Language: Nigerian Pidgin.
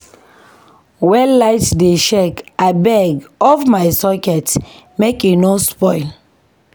Wen light dey shake abeg off my socket make e no spoil.